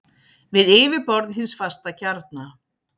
við yfirborð hins fasta kjarna.